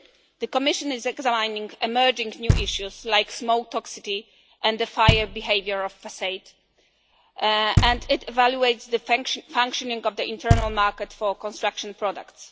The Commission is examining emerging new issues such as smoke toxicity and the fire behaviour of facades, and it evaluates the functioning of the internal market for construction products.